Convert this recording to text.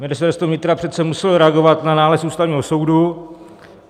Ministerstvo vnitra přece muselo reagovat na nález Ústavního soudu.